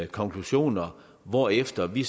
konklusioner hvorefter vi